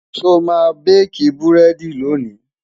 sọ má baki burẹdi lóni?